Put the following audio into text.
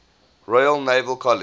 royal naval college